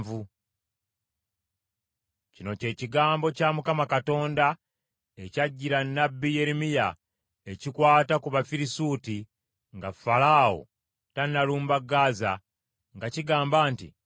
Kino kye kigambo kya Mukama Katonda ekyajjira nnabbi Yeremiya ekikwata ku Bafirisuuti nga Falaawo tannalumba Gaza nga kigamba nti: